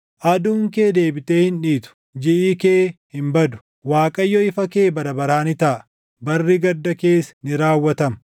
Aduun kee deebitee hin dhiitu; jiʼi kee hin badu; Waaqayyo ifa kee bara baraa ni taʼa; barri gadda kees ni raawwatama.